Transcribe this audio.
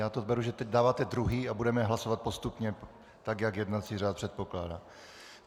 Já to beru, že teď dáváte druhý a budeme hlasovat postupně tak, jak jednací řád předpokládá.